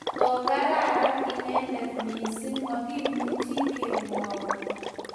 kokararan inedet mising makimuchi kemwou